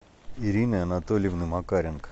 ирины анатольевны макаренко